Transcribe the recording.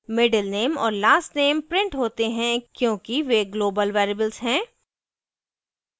middle _ name और last _ name printed होते हैं क्योंकि वे global variables हैं